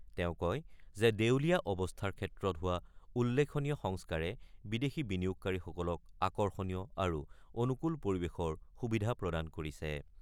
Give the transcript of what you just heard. তেওঁ কয় যে দেউলীয়া অৱস্থাৰ ক্ষেত্ৰত হোৱা উল্লেখনীয় সংস্কাৰে বিদেশী বিনিয়োগকাৰীসকলক আকৰ্ষণীয় আৰু অনুকূল পৰিৱেশৰ সুবিধা প্ৰদান কৰিছে।